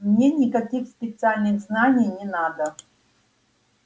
мне никаких специальных знаний не надо